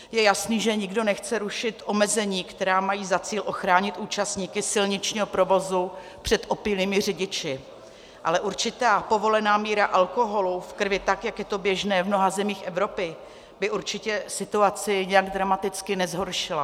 Je jasné, že nikdo nechce rušit omezení, která mají za cíl ochránit účastníky silničního provozu před opilými řidiči, ale určitá povolená míra alkoholu v krvi, tak jak je to běžné v mnoha zemích Evropy, by určitě situaci nijak dramaticky nezhoršila.